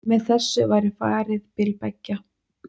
Með þessu væri farið bil beggja